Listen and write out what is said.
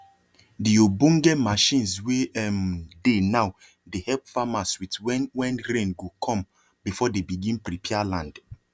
the obonge machines wey um dey nowdey help farmers with when when rain go come before dey begin prepare land